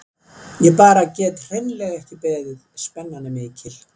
Ég bara get hreinlega ekki beðið, spennan er mikil.